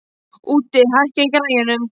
Úddi, hækkaðu í græjunum.